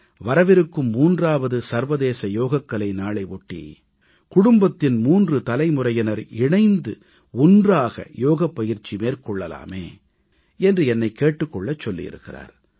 வரவிருக்கும் 3வது சர்வதேச யோகக்கலை நாளை ஒட்டி குடும்பத்தின் 3 தலைமுறையினர் இணைந்து ஒன்றாக யோகப் பயிற்சி மேற்கொள்ளலாமே என்று என்னை கேட்டுக் கொள்ளச் சொல்லியிருக்கிறார்